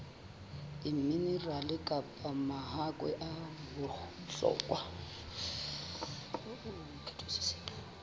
diminerale kapa mahakwe a bohlokwa